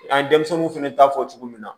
An ye denmisɛnninw fɛnɛ ta fɔ cogo min na